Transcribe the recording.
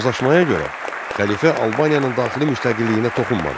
Razılaşmaya görə, xəlifə Albaniyanın daxili müstəqilliyinə toxunmadı.